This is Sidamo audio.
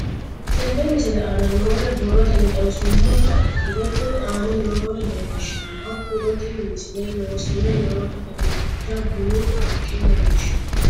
Tenne misile aana noore borrotenni xawisummoha ikirro kunni aane noore leelishano. Hakunno tinni misile loosame nooha dancha bunu haqqa leelishshano.